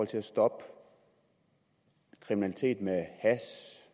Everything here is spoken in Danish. til at stoppe kriminalitet med og